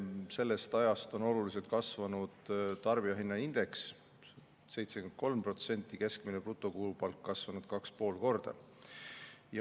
Sellest ajast on oluliselt kasvanud tarbijahinnaindeks, 73%, ja keskmine brutokuupalk on kasvanud 2,5 korda.